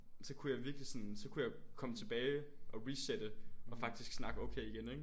Så kunne jeg virkelig sådan så kunne jeg komme tilbage og resette og faktisk snakke okay igen ikke?